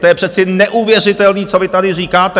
To je přece neuvěřitelný, co vy tady říkáte.